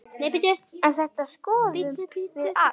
En þetta skoðum við allt.